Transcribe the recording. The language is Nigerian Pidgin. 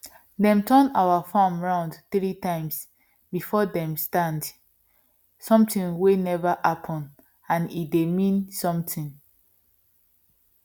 dem turn our farm round three times before dem stand something wey never happen and e dey mean something